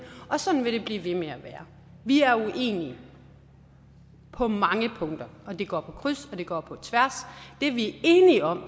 og sådan vil det blive ved med at være vi er uenige på mange punkter og det går på kryds og det går på tværs det vi er enige om